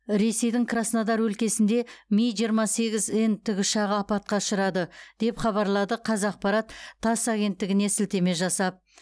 ресейдің краснодар өлкесінде ми жиырма сегіз н тікұшағы апатқа ұшырады деп хабарлады қазақпарат тасс агенттігіне сілтеме жасап